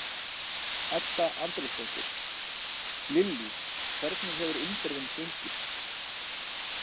Edda Andrésdóttir: Lillý hvernig hefur umferðin gengið?